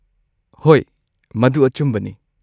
ꯍꯣꯏ, ꯃꯗꯨ ꯑꯆꯨꯝꯕꯅꯤ꯫